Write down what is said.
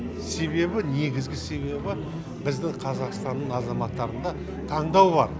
себебі негізгі себебі біздің қазақстанның азаматтарында таңдау бар